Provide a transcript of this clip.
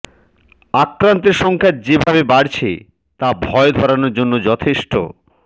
আক্রান্তের সংখ্যা যেভাবে বাড়ছে তা ভয় ধরানোর জন্য যথেষ্ট